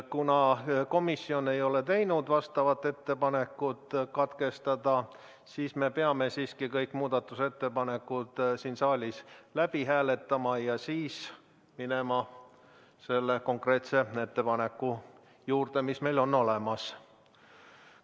Kuna komisjon ei ole teinud ettepanekut lugemist katkestada, siis me peame siiski kõik muudatusettepanekud saalis läbi hääletama ja siis minema selle konkreetse ettepaneku juurde, mis meil olemas on.